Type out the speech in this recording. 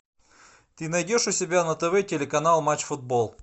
ты найдешь у себя на тв телеканал матч футбол